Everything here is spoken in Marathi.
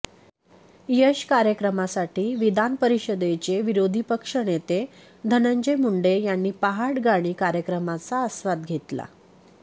यश कार्यक्रमासाठी विधान परिषदेचे विरोधीपक्ष नेते धनंजय मुंडे यांनी पहाट गाणी कार्यक्रमाचा आस्वाद घेतला